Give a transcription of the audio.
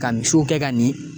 Ka misiw kɛ ka ni